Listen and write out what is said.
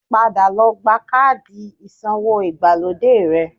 Padà lọ gba káàdì ìsawó ìgbàlódé rẹ